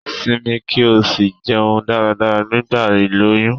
Simi ki o si jeun dáradára nigba iloyun